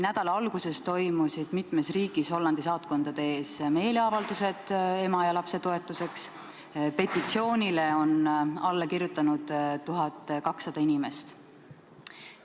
Nädala alguses toimusid mitmes riigis Hollandi saatkondade ees meeleavaldused ema ja lapse toetuseks, petitsioonile on alla kirjutanud 1200 inimest.